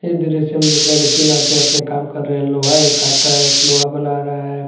इस दृश्य में दिख रहा है कि तीन आदमी अपने काम कर रहे हैं लोहा एक काट रहा है एक लोहा बना रहा है।